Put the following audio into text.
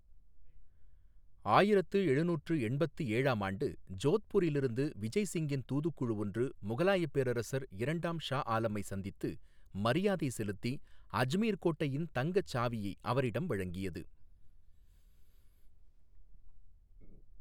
ஆயிரத்து எழுநூற்று எண்பத்து ஏழாம் ஆண்டு ஜோத்பூரிலிருந்து விஜய் சிங்கின் தூதுக்குழு ஒன்று முகலாயப் பேரரசர் இரண்டாம் ஷா ஆலமை சந்தித்து மரியாதை செலுத்தி அஜ்மீர் கோட்டையின் தங்கச் சாவியை அவரிடம் வழங்கியது.